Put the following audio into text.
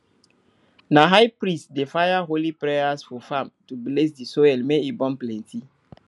na high priest dey fire holy prayers for farm to bless di soil make e born plenty